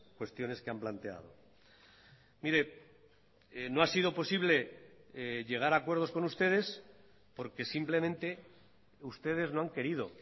cuestiones que han planteado mire no ha sido posible llegar a acuerdos con ustedes porque simplemente ustedes no han querido